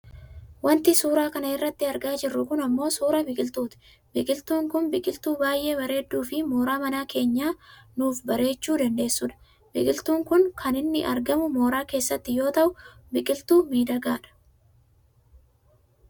Wanti suuraa kana irratti argaa jirru kun ammoo suuraa biqiltuuti. Biqiltuun kun biqiltuu baayyee bareedduufi mooraa mana keenyaa nuuf bareechuu dandeessudha. Biqiltuun kun kan inni argamu mooraa keessatti yoo ta'u biqiltuu miidhagaadha.